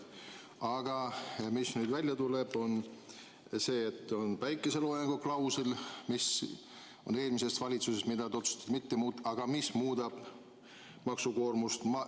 Aga nüüd tuleb välja, et seda päikeseloojangu klauslit, mis pärineb eelmise valitsuse ajast, te otsustasite mitte muuta, kuigi see muudab maksukoormust.